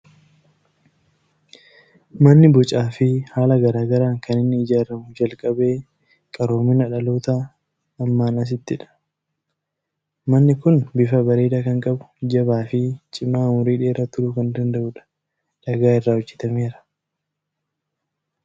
Manni bocaa fi haala garaa garaan kan inni ijaaramuu jalqabe qaroomina dhaloota ammaan asittidha. Manni kun bifa bareedaa kan qabu, jabaa fi cimaa umurii dheeraa turuu kan danda'udha. Dhagaa irraa hojjetameera.